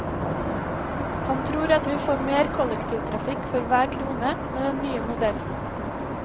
Han tror at vi får mer kollektivtrafikk for hver krone med den nye modellen.